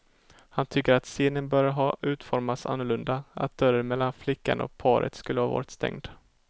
Han tycker att scenen borde ha utformats annorlunda, att dörren mellan flickan och paret skulle ha varit stängd.